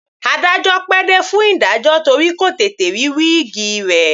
Adájọ́ pẹ́ dé fún ìdájọ́ torí kò tètè rí wíìgi rẹ̀.